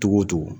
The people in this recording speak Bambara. Togo togo